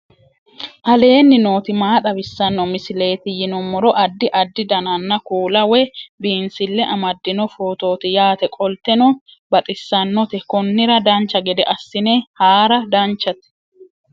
aleenni nooti maa xawisanno misileeti yinummoro addi addi dananna kuula woy biinsille amaddino footooti yaate qoltenno baxissannote konnira dancha gede assine haara danchate